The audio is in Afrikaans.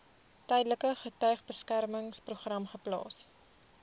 tydelike getuiebeskermingsprogram geplaas